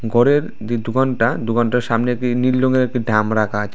ঘরের যে দোকানটা দোকানটার সামনে দিয়ে নীল রঙের একটি ডাম রাখা আছে।